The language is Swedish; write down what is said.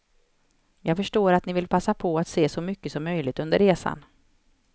Jag förstår att ni vill passa på att se så mycket som möjligt under resan.